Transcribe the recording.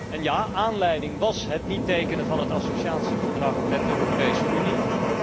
En ja, aanleiding was het niet tekenen van de associatieovereenkomst met de Europese Unie.